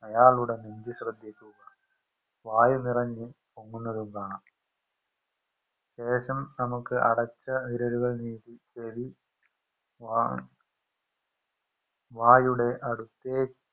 അയാളുടെ മുമ്പ് ശ്രെദ്ധിക്കുക വായു നിറഞ് പൊങ്ങുന്നതും കാണാം ശേഷം നമുക്ക് അടച്ച വിരലുകൾ നീക്കി ചെവി വാ വായുടെ അടുത്തേക്ക്